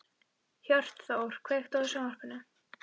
Hjörtþór, kveiktu á sjónvarpinu.